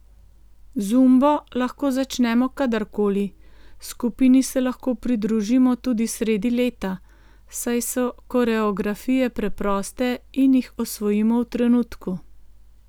Zumbo lahko začnemo kadar koli, skupini se lahko pridružimo tudi sredi leta, saj so koreografije preproste in jih osvojimo v trenutku.